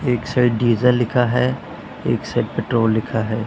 एक side diesel लिखा है एक साइड पेट्रोल लिखा है।